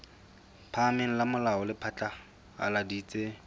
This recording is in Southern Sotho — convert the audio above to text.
phahameng la molao le phatlaladitse